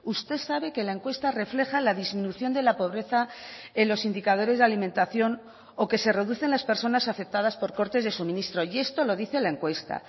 usted sabe que la encuesta refleja la disminución de la pobreza en los indicadores de alimentación o que se reducen las personas afectadas por cortes de suministro y esto lo dice la encuesta